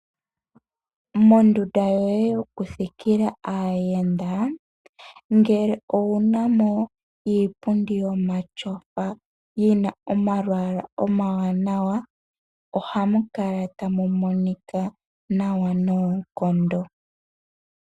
Mondunda yoye yokuthikila aayenda ngele owu na mo iipundi yomatyofa yi na omalwaala omawanawa ohamu kala tamu monika nawa noonkondo.